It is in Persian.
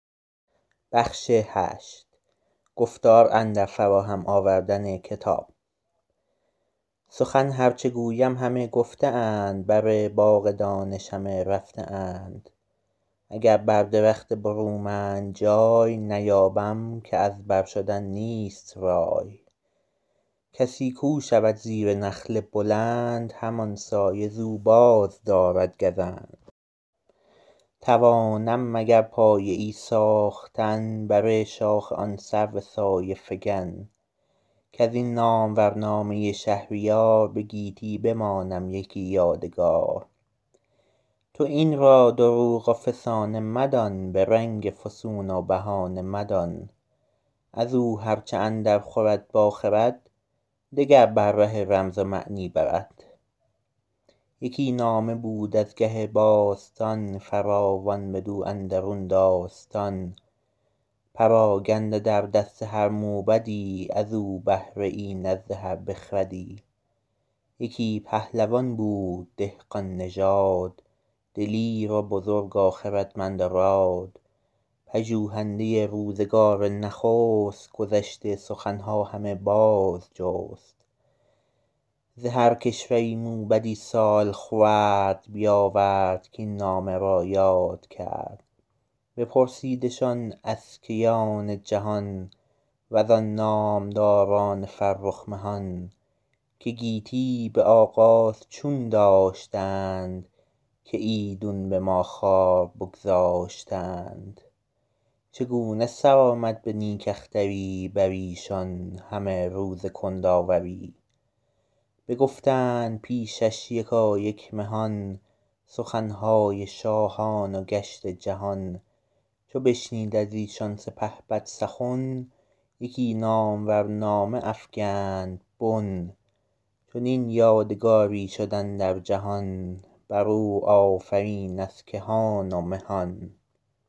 سخن هر چه گویم همه گفته اند بر باغ دانش همه رفته اند اگر بر درخت برومند جای نیابم که از بر شدن نیست رای کسی کو شود زیر نخل بلند همان سایه ز او بازدارد گزند توانم مگر پایه ای ساختن بر شاخ آن سرو سایه فکن کز این نامور نامه شهریار به گیتی بمانم یکی یادگار تو این را دروغ و فسانه مدان به رنگ فسون و بهانه مدان از او هر چه اندر خورد با خرد دگر بر ره رمز و معنی برد یکی نامه بود از گه باستان فراوان بدو اندرون داستان پراگنده در دست هر موبدی از او بهره ای نزد هر بخردی یکی پهلوان بود دهقان نژاد دلیر و بزرگ و خردمند و راد پژوهنده روزگار نخست گذشته سخن ها همه باز جست ز هر کشوری موبدی سال خورد بیاورد کاین نامه را یاد کرد بپرسیدشان از کیان جهان وزان نامداران فرخ مهان که گیتی به آغاز چون داشتند که ایدون به ما خوار بگذاشتند چگونه سر آمد به نیک اختری بر ایشان همه روز کندآوری بگفتند پیشش یکایک مهان سخن های شاهان و گشت جهان چو بشنید از ایشان سپهبد سخن یکی نامور نامه افکند بن چنین یادگاری شد اندر جهان بر او آفرین از کهان و مهان